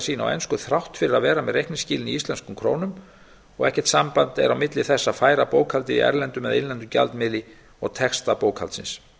sína á ensku þrátt fyrir að vera með reikningsskilin í íslenskum krónum og ekkert samband er á milli þess að færa bókhaldið í erlendum eða innlendum gjaldmiðli og texta bókhaldsins